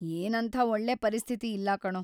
ಏನಂಥ ಒಳ್ಳೆ ಪರಿಸ್ಥಿತಿ ಇಲ್ಲ ಕಣೋ.